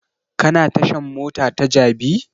Ka na tashan mota ta jabi?